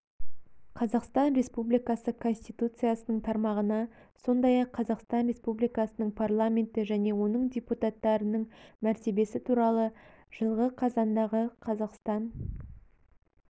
қазақстан республикасы конституциясының тармағына сондай-ақ қазақстан республикасының парламенті және оның депутаттарының мәртебесі туралы жылғы қазандағы қазақстан